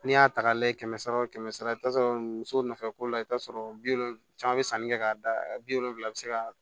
N'i y'a ta k'a layɛ kɛmɛ sara o kɛmɛ sara i bi t'a sɔrɔ muso nɔfɛ ko la i bɛ t'a sɔrɔ bi wolonvila caman bɛ sanni kɛ k'a da bi wolonwula bi se ka